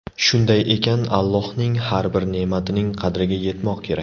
Shunday ekan, Allohning har bir ne’matining qadriga yetmoq kerak.